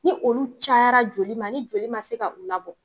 Ni olu cayara joli ma ni joli man se ka u labɔ.